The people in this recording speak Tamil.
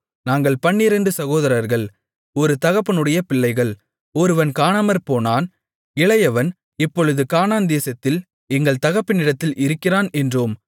நாங்கள் பன்னிரண்டு சகோதரர்கள் ஒரு தகப்பனுடைய பிள்ளைகள் ஒருவன் காணாமற்போனான் இளையவன் இப்பொழுது கானான்தேசத்தில் எங்கள் தகப்பனிடத்தில் இருக்கிறான் என்றோம்